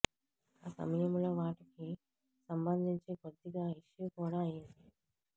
ఆ సమయంలో వాటికి సంబంధించి కొద్దిగా ఇష్యూ కూడా అయ్యింది